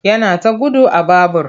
Yana ta gudu a babur.